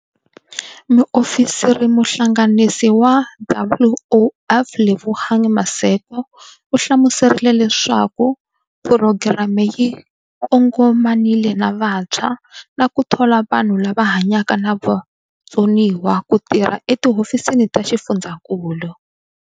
Muofisirimuhlanganisi wa WOF Lebogang Maseko u hlamuserile leswaku phurogireme yi kongomanile na vantshwa na ku thola vanhu lava hanyaka na vutsoniwa ku tirha etihofisini ta xifundzankulu.